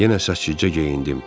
Yenə səliqəcə geyindim.